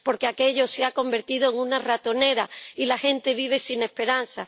Porque aquello se ha convertido en una ratonera, y la gente vive sin esperanza.